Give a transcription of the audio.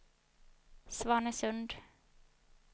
Svanesund